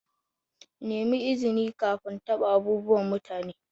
Nemi izini kafin taɓa abubuwan mutane.